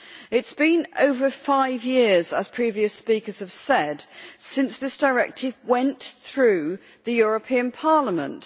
It has been over five years, as previous speakers have said, since this directive went through the European Parliament.